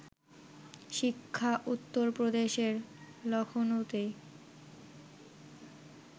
শিক্ষা উত্তরপ্রদেশের লখনউতে